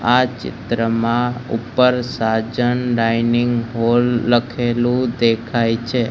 આ ચિત્રમાં ઉપર સાજન ડાઇનિંગ હોલ લખેલું દેખાય છે.